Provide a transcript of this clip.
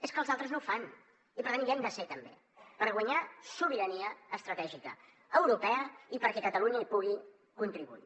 és que els altres no ho fan i per tant hi hem de ser també per guanyar sobirania estratègica europea i perquè catalunya hi pugui contribuir